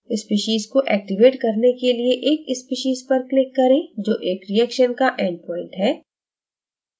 species को activate करने के लिए एक species पर click करें जो एक reaction का endpoint है